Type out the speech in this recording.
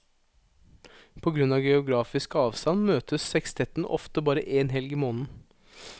På grunn av geografisk avstand møtes sekstetten ofte bare én helg i måneden.